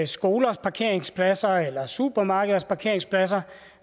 skolers parkeringspladser eller supermarkeders parkeringspladser